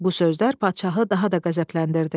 Bu sözlər padşahı daha da qəzəbləndirdi.